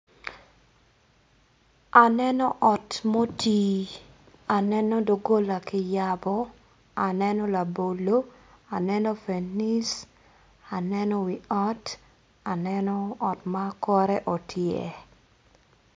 Aneno ot mutii aneno ldogola kiyabo abolo fenis aneno ot otyer